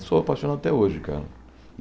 Sou apaixonado até hoje, cara.